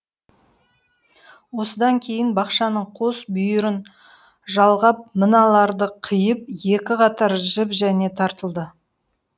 осыдан кейін бақшаның қос бүйірін жалғап мыналарды қиып екі қатар жіп және тартылды